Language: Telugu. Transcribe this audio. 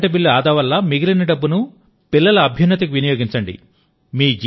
కరెంటు బిల్లు ఆదావల్ల మిగిలిన డబ్బును పిల్లల అభ్యున్నతికి వినియోగించండి